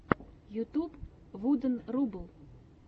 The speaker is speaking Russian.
ютюб вуден рубл